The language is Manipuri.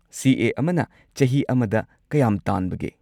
ꯁꯤ. ꯑꯦ. ꯑꯃꯅ ꯆꯍꯤ ꯑꯃꯗ ꯀꯌꯥꯝ ꯇꯥꯟꯕꯒꯦ?